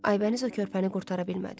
Aybəniz o körpəni qurtara bilmədi.